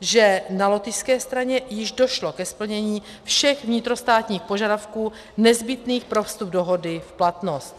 že na lotyšské straně již došlo ke splnění všech vnitrostátních požadavků nezbytných pro vstup dohody v platnost.